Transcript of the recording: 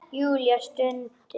Júlía stundi.